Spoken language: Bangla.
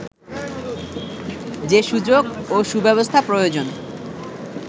যে সুযোগ ও সুব্যবস্থা প্রয়োজন